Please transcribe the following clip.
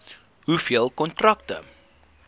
hoeveel kontrakte